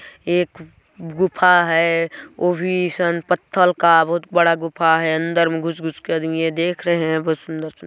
एक गुफा है ओ भी सन पत्थर का बहुत बड़ा गुफा है अंदर में घुस-घुस के आदमीये देख रहे है बहुत सुन्दर सुं--